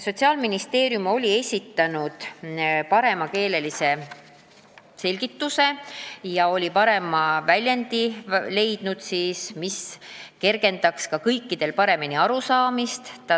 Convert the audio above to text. Sotsiaalministeerium oli leidnud parema väljendi, mis kergendaks ka kõikidel arusaamist.